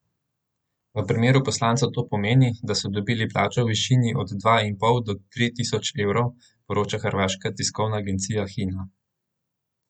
V primeru poslancev to pomeni, da so dobili plačo v višini od dva in pol do tri tisoč evrov, poroča hrvaška tiskovna agencija Hina.